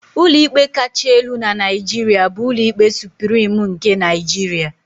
Ụlọikpe kacha elu na Naijiria bụ Ụlọikpe Suprim nke Nigeria.